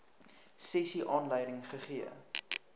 sessie aanleiding gegee